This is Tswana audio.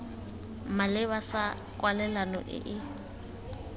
maleba sa kwalelano e e